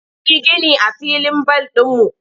An yi gini a filin bal ɗinmu.